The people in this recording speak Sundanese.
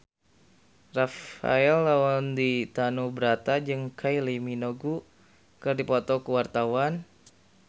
Rafael Landry Tanubrata jeung Kylie Minogue keur dipoto ku wartawan